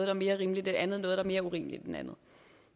er mere rimeligt end andet og noget der er mere urimeligt end andet